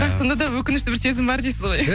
бірақ сонда да өкінішті бір сезім бар дейсіз ғой